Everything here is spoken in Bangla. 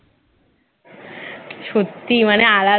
সত্যি মানে আলাদা